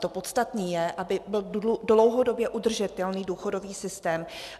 To podstatné je, aby byl dlouhodobě udržitelný důchodový systém.